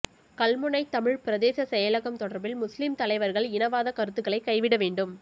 கல்முனை தமிழ் பிரதேச செயலகம் தொடர்பில் முஸ்லிம் தலைவர்கள் இனவாத கருத்துகளை கைவிட வேண்டும்